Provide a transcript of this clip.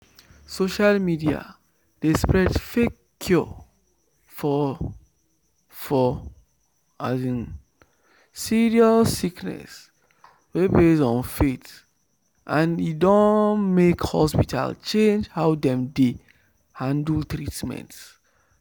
social media dey spread fake cure for for um serious sickness wey base on faith and e don make hospital change how dem dey handle treatment."